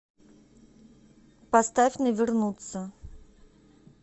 поставь не вернуться